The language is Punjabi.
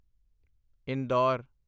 ਇੰਦੌਰ